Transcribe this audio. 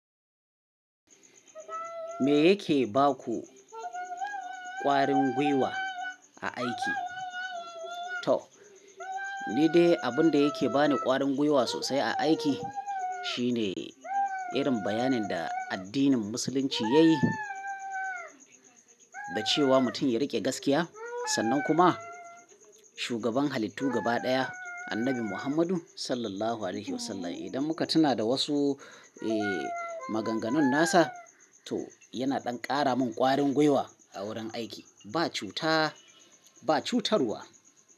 Me yake ba ku ƙwarin gwiwa a aiki? Toh, ni dai abun da yake ba ni ƙwarin gwiwa sosai a aiki shine irin bayanin da addinin musulunci yayi da cewa mutum ya riƙe gaskiya. Sannan kuma shugaban halittu gaba ɗaya Annabi Muhammadu Sallallahu Alaihi Wasallam. Idan muka tuna da wasu, eh, maganganun nasa to yana ɗan ƙara min ƙwarin gwiwa a wurin aiki. Ba cuta, ba cutarwa.